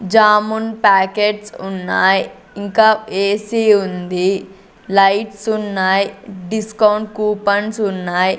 Jamun packets ఉన్నాయ్ ఇంకా AC ఉంది లైట్స్ ఉన్నాయ్ డిస్కౌంట్ కూపన్స్ ఉన్నాయ్.